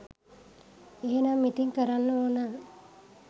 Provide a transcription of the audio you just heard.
එහෙනම් ඉතින් කරන්න ඕන